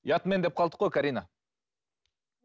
ұятмен деп қалдық қой карина